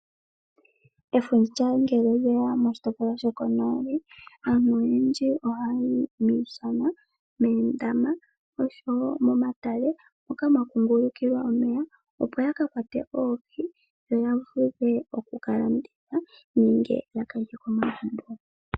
Efundja ngele lyeya moshitopolwa shoko noli aantu oyendji ohayi miishana, meendama oshowo momatale moka mwakungulukila omeya opo yakakwate oohi yo yavule okukalanditha nenge yakalye momagumbo.